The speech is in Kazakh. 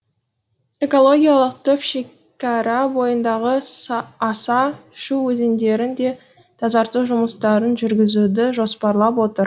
экологиялық топ шекара бойындағы аса шу өзендерін де тазарту жұмыстарын жүргізуді жоспарлап отыр